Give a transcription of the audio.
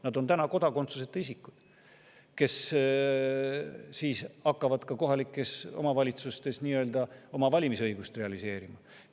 Nad on kodakondsuseta isikud, kes siis hakkavad ka kohalikes omavalitsustes oma valimisõigust realiseerima.